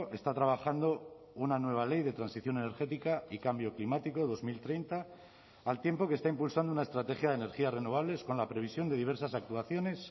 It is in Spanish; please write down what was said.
está trabajando una nueva ley de transición energética y cambio climático dos mil treinta al tiempo que está impulsando una estrategia de energías renovables con la previsión de diversas actuaciones